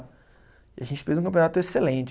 E a gente fez um campeonato excelente.